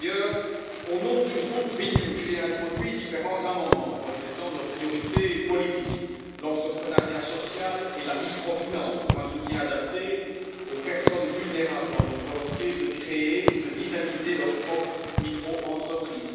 Par ailleurs, au nom du groupe Renew, j'ai introduit différents amendements reflétant nos priorités politiques l'entrepreneuriat social et la microfinance, pour un soutien adapté aux personnes vulnérables dans leur volonté de créer ou de dynamiser leur propre micro entreprise